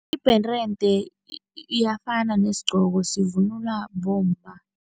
Ibherende iyafana nesigqoko, sivunulwa bomma.